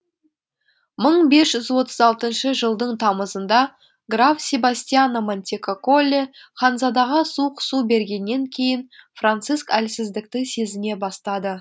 мың бес жүз отыз алтыншы жылдың тамызында граф себастьяно монтекокколи ханзадаға суық су бергеннен кейін франциск әлсіздікті сезіне бастады